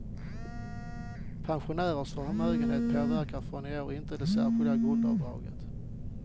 Pensionärers förmögenhet påverkar från i år inte det särskilda grundavdraget.